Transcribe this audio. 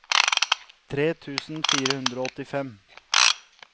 tre tusen fire hundre og åttifem